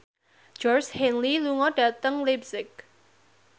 Georgie Henley lunga dhateng leipzig